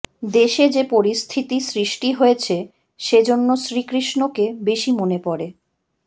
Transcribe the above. দেশে যে পরিস্থিতি সৃষ্টি হয়েছে সেজন্য শ্রীকৃষ্ণকে বেশি মনে পড়ে